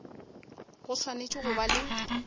go swanetše go ba le